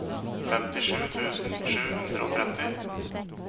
femtisju tusen sju hundre og tretti